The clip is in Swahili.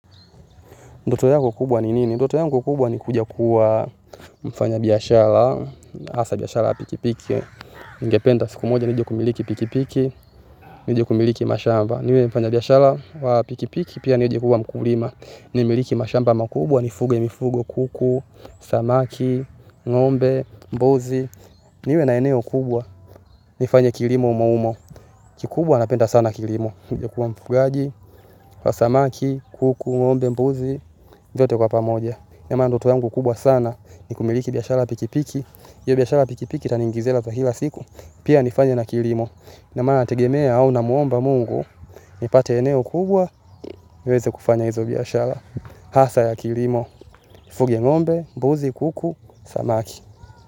Ndoto yako kubwa ni nini? Ndoto yango kubwa ni kuja kuwa mfanyabiashara, hasa biashara ya pikipiki. Ningependa siku moja nije kumiliki pikipiki, nije kumiliki mashamba. Niwe mfanyabiashara wa pikipiki pia nije kuwa mkulima nimiliki mashamba makubwa nifuge mifugo kuku, samaki, ngombe, mbuzi niwe na eneo kubwa nifanye kilimo humo humo. Kikubwa napenda sana kilimo. Nije kuwa mfugaji, wa samaki, kuku, ngombe, mbuzi. Vyote kwa pamoja. Ama ndoto yangu kubwa sana ni kumiliki biashara ya pikipiki. Hiyo biashara pikipiki itaniingizia hela za kila siku. Pia nifanye na kilimo, ina maana nategemea au namuomba Mungu nipate eneo kubwa niweze kufanya hizo biashara hasa ya kilimo. Nifuge ngombe, mbuzi, kuku, samaki.